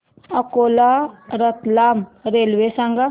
Akola Ratlam railway सांगा